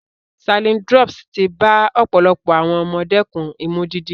Saline drops ti bá ọ̀pọ̀lọpọ̀ àwọn ọmọ dẹ́kun Imú dídí.